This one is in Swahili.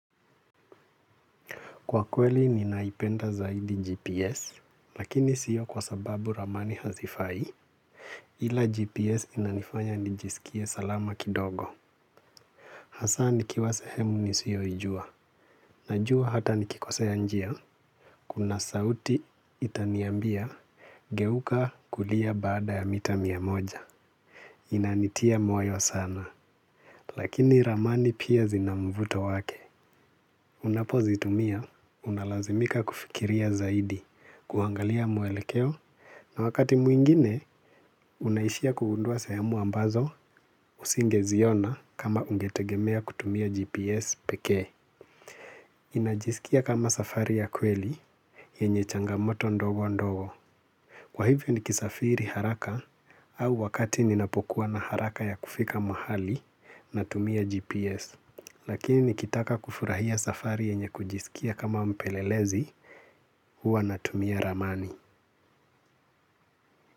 Kwa kweli ninaipenda zaidi GPS, lakini sio kwa sababu ramani hazifai, ila GPS inanifanya nijisikie salama kidogo. Hasanikiwa sehemu nisiyoijua. Najua hata nikikosea njia, kuna sauti itaniambia, geuka kulia baada ya mita mia moja. Inanitia moyo sana, lakini ramani pia zinamvuto wake. Unapozitumia, unalazimika kufikiria zaidi, kuangalia muelekeo, na wakati mwingine, unaishia kugundua sehemu ambazo, usingeziona kama ungetegemea kutumia GPS pekee. Inajisikia kama safari ya kweli, yenye changamoto ndogo ndogo. Kwa hivyo nikisafiri haraka, au wakati ninapokua na haraka ya kufika mahali na tumia GPS. Lakini nikitaka kufurahia safari yenye kujisikia kama mpelelezi, huwa natumia ramani.